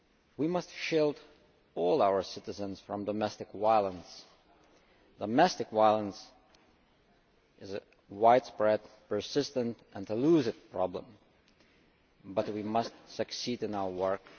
We must shield all our citizens from domestic violence. Domestic violence is a widespread, persistent and elusive problem but we must succeed in our work.